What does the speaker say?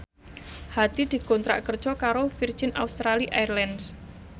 Hadi dikontrak kerja karo Virgin Australia Airlines